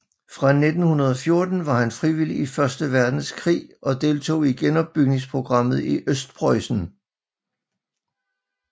Fra 1914 var han frivilig i Første Verdenskrig og deltog i genopbygningsprogrammet i Østpreussen